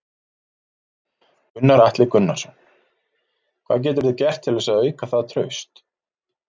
Gunnar Atli Gunnarsson: Hvað geturðu gert til þess að auka það traust?